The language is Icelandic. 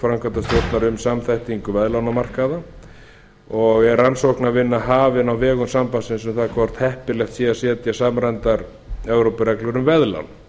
framkvæmdastjórnar um samþættingu veðlánamarkaða og er rannsóknarvinna hafin á vegum sambandsins um það hvort heppilegt sé að setja samræmdar evrópureglur um veðlán